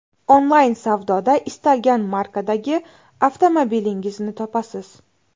Onlayn savdoda istalgan markadagi avtomobilingizni topasiz.